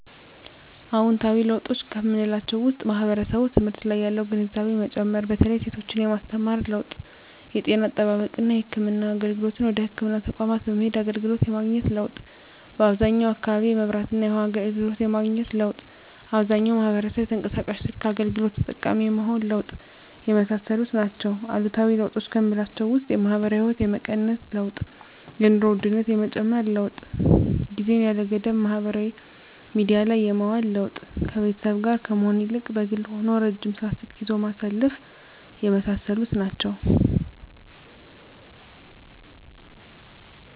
አዎንታዊ ለውጦች ከምላቸው ውስጥ ማህበረሰቡ ትምህርት ላይ ያለው ግንዛቤ መጨመር በተለይ ሴቶችን የማስተማር ለውጥ የጤና አጠባበቅና የህክምና አገልግሎትን ወደ ህክምና ተቋማት በመሄድ አገልግሎት የማግኘት ለውጥ በአብዛኛው አካባቢ የመብራትና የውሀ አገልግሎት የማግኘት ለውጥ አብዛኛው ማህበረሰብ የተንቀሳቃሽ ስልክ አገልግሎት ተጠቃሚ የመሆን ለውጥ የመሳሰሉት ናቸው። አሉታዊ ለውጦች ከምላቸው ውስጥ የማህበራዊ ህይወት የመቀነስ ለውጥ የኑሮ ውድነት የመጨመር ለውጥ ጊዜን ያለ ገደብ ማህበራዊ ሚዲያ ላይ የማዋል ለውጥ ከቤተሰብ ጋር ከመሆን ይልቅ በግል ሆኖ ረጅም ሰዓት ስልክ ይዞ ማሳለፍ የመሳሰሉት ናቸው።